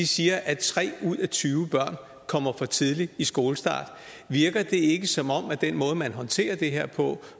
siger at tre ud af tyve børn kommer for tidligt i skole virker det ikke som om med den måde man håndterer det her på